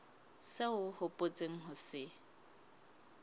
seo o hopotseng ho se